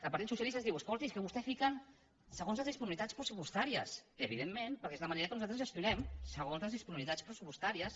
el partit socialista ens diu escolti és que vostès fiquen segons les disponibilitats pressupostàries evidentment perquè és la manera com nosaltres gestionem segons les disponibilitats pressupostàries